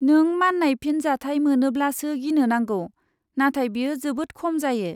नों मान्नाय फिनजाथाय मोनोब्लासो गिनो नांगौ नाथाय बेयो जोबोद खम जायो।